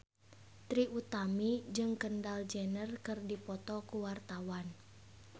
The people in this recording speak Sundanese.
Trie Utami jeung Kendall Jenner keur dipoto ku wartawan